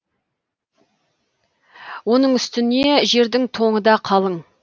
оның үстіне жердің тоңы да қалың